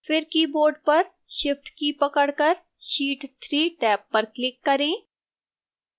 फिर keyboard पर shift की पकड़कर sheet 3 टैब पर click करें